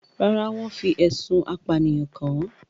Rárá, wọ́n fi ẹ̀sùn apànìyàn kan-an